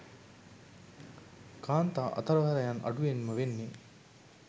කාන්තා අතවරයන් අඩුවෙන්ම වෙන්නේ.